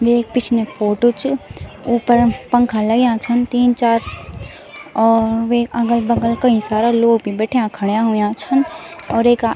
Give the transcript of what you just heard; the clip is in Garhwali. वेक पिछने फोटो च उपरम पंखा लग्याँ छन तीन चार और वेक अगल-बगल कई सारा लोग भी बैठ्या खड़ा हुयां छन और एका --